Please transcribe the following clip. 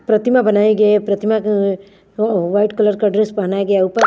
प्रतिमा बनाए गए प्रतिमा क व्हाइट कलर का ड्रेस पहनाया गया उपर--